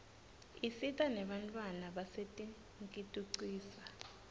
isita nenbantfwana basetinkitucisa